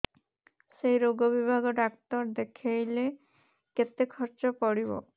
ସେଇ ରୋଗ ବିଭାଗ ଡ଼ାକ୍ତର ଦେଖେଇଲେ କେତେ ଖର୍ଚ୍ଚ ପଡିବ